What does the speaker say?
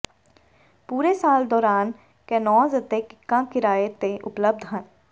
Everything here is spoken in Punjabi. ਪੂਰੇ ਸਾਲ ਦੌਰਾਨ ਕੈਨੋਜ਼ ਅਤੇ ਕਿੱਕਾਂ ਕਿਰਾਏ ਤੇ ਉਪਲਬਧ ਹਨ